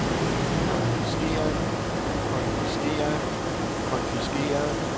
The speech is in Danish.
konfiskeret konfiskeret konfiskeret